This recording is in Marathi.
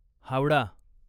हावडा